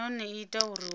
nahone i ita uri hu